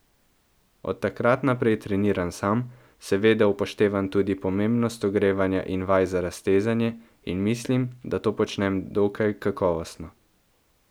Od takrat naprej treniram sam, seveda upoštevam tudi pomembnost ogrevanja in vaj za raztezanje, in mislim, da to počnem dokaj kakovostno.